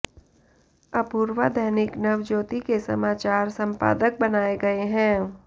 अपूर्वा दैनिक नवज्योति के समाचार संपादक बनाए गए हैं